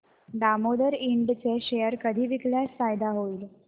Damodar Ind चे share कधी विकल्यास फायदा होईल